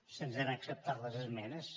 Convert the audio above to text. se’ns han acceptat les esmenes